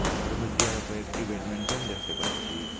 তাহার মইধ্যে আরো কয়েকটি ব্যাটমিন্টন দেখতে পাচ্ছি।